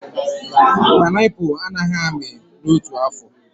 Panaipụlụ a naghị amị n'otu afọ